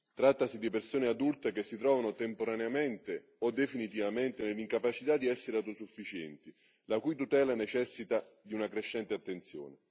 Trattasi di persone adulte che si trovano temporaneamente o definitivamente nell'incapacità di essere autosufficienti, la cui tutela necessita di una crescente attenzione.